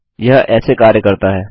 यह ऐसे कार्य करता है